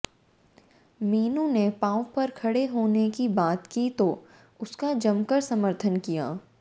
मीनू ने पांव पर खड़े होने की बात की तो उसका जमकर समर्थन किया